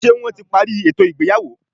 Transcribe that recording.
Ṣé wọ́n ti parí ètò ìgbéyàwó?